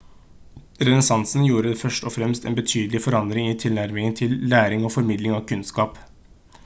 renessansen gjorde først og fremst en betydelig forandring i tilnærmingen til læring og formidling av kunnskap